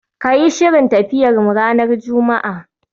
Ka yi shirin tafiyarmu ranar Juma'a